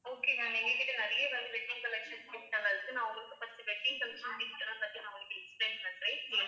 okay ma'am எங்க கிட்ட நிறைய வந்து wedding collections gift லாம் இருக்கு நான் உங்களுக்கு first wedding collections gift எல்லாம் பத்தி நான் உங்களுக்கு explain பண்றேன்